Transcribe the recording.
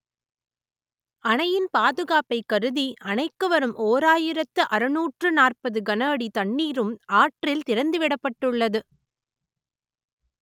அணையின் பாதுகாப்பை கருதி அணைக்கு வரும் ஓராயிரத்து அறுநூற்று நாற்பது கன அடி தண்ணீரும் ஆற்றில் திறந்து விடப்பட்டுள்ளது